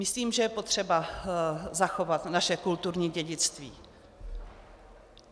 Myslím, že je potřeba zachovat naše kulturní dědictví.